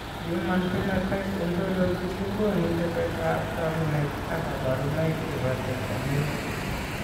Human Phenotype Ontology kogonu tetet ab takunet ak kabarunaik chebo Tetramelic